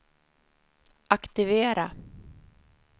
aktivera